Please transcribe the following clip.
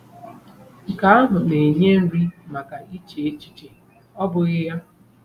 Nke ahụ na-enye nri maka iche echiche, ọ́ bụghị ya?